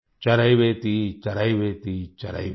चरैवेति चरैवेति चरैवेति